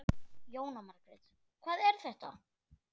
Jóhanna Margrét: Hvað er þetta?